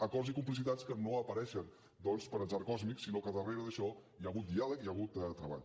acords i complicitats que no apareixen doncs per atzar còsmic sinó que darrere d’això hi ha hagut diàleg hi ha hagut treball